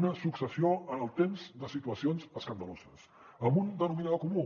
una successió en el temps de situacions escandaloses amb un denominador comú